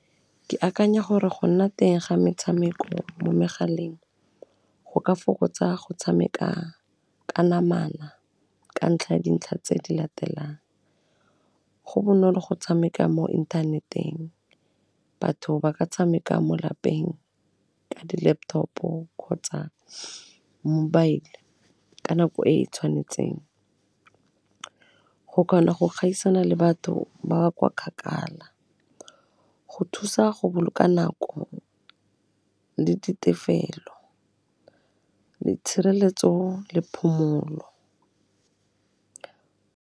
Ke akanya gore go nna teng ga metshameko mo megaleng go ka fokotsa go tshameka ka namana ka ntlha ya dintlha tse di latelang, go bonolo go tshameka mo inthaneteng, batho ba ka tshameka mo lapeng ka dilaptop-o kgotsa mobile ka nako e e tshwanetseng, go kgona go gaisana le batho ba ba kwa kgakala, go thusa go boloka nako le di tefelo, di tshireletso le phomolo.